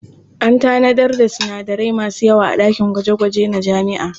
An tanadar da sinadarai masu yawa a ɗakin gwaje-gwaje na jami'a.